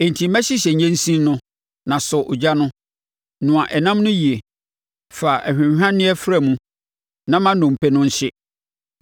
Enti hyehyɛ nnyensin no na sɔ ogya no. Noa ɛnam no yie, fa ahwanhwanneɛ fra mu; na ma nnompe no nhye.